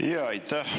Aitäh!